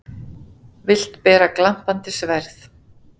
Vilt bera glampandi sverð.